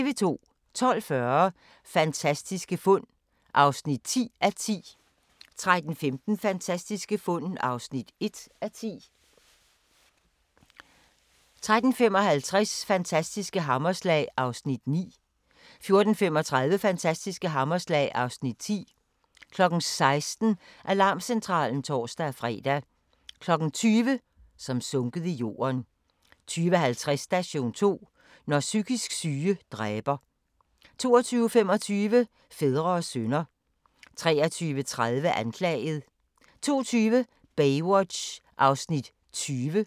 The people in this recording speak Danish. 12:40: Fantastiske fund (10:10) 13:15: Fantastiske fund (1:10) 13:55: Fantastiske hammerslag (Afs. 9) 14:35: Fantastiske hammerslag (Afs. 10) 16:00: Alarmcentralen (tor-fre) 20:00: Som sunket i jorden 20:50: Station 2: Når psykisk syge dræber 22:25: Fædre og sønner 23:30: Anklaget 02:20: Baywatch (20:243)